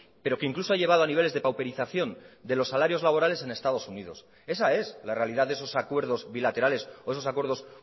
pero que incluso ha llevado a niveles de pauperización de los salarios laborales en estados unidos esa es la realidad de esos acuerdos bilaterales o esos acuerdos